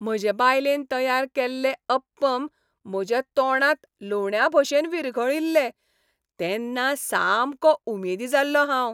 म्हजे बायलेन तयार केल्लें अप्पम म्हज्या तोंडांत लोण्याभशेन विरघळील्लें तेन्ना सामको उमेदी जाल्लों हांव.